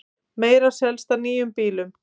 Meira selst af nýjum bílum